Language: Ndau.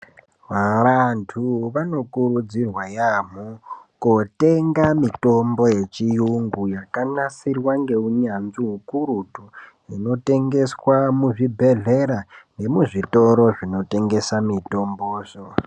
Vanthu vanokurudzirwa yaambo kutenga mitombo yechiyungu yakanasirwa ngeunyanzvi hukurutu inotengeswa muzvibhedhlera nemuzvitoro zvinotengesa mutombozvo.